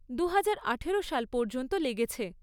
দুহাজার আঠেরো সাল পর্যন্ত লেগেছে।